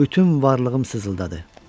Bütün varlığım sızıldadı.